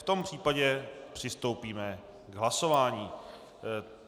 V tom případě přistoupíme k hlasování.